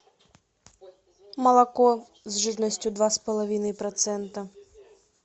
молоко с жирностью два с половиной процента